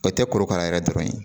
O tɛ korokara yɛrɛ dɔrɔn ye